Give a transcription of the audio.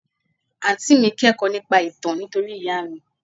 Àǹtí mi kẹ́kọ̀ọ́ nípa ìtàn nítorí ìyá mi.